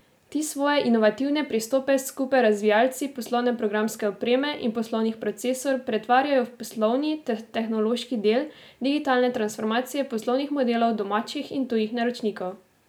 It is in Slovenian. Ti svoje inovativne pristope skupaj z razvijalci poslovne programske opreme in poslovnih procesov pretvarjajo v poslovni ter tehnološki del digitalne transformacije poslovnih modelov domačih in tujih naročnikov.